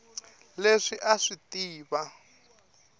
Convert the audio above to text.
leswi a a swi tiva